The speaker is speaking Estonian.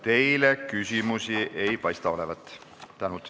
Teile küsimusi ei ole.